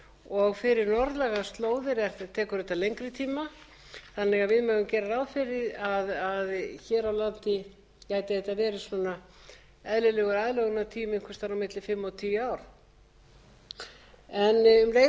og fyrir norðlægar slóðir tekur þetta lengri tíma þannig að við megum gera ráð fyrir því að hér á landi gæti þetta verið svona eðlilegur aðlögunartími einhvers staðar á milli fimm og tíu ár um leið og ég